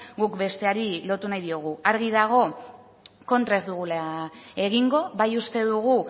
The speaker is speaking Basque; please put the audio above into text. guk besteari lotu nahi diogu argi dago kontra ez dugula egingo bai uste dugu